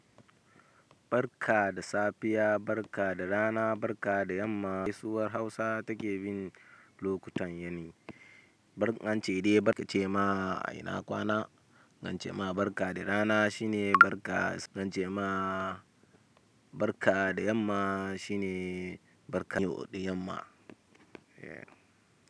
Barka da safiya, barka da rana, barka da yamma. Gaisuwar Hausa take bin lokutan yini. Barka an ce idan barka ce ma ina kwana, an ce ma barka da rana shine barka. In ance ma barka da yamma shine barka da yamma. Eh.